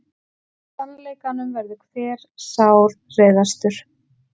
Sannleikanum verður hver sárreiðastur.